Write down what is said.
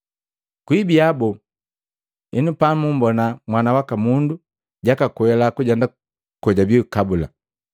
Kuibiya boo henu pamumbona Mwana waka Mundu jakakwela kujenda kojabii kabula?